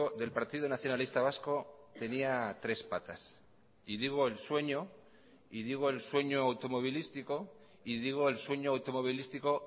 del partido nacionalista vasco tenía tres patas y digo el sueño y digo el sueño automovilístico y digo el sueño automovilístico